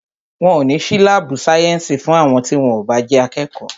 Wọn o ní sí láàbù sayensi fún àwọn tí wón o bá jẹ́ akẹ́kọ̀ọ́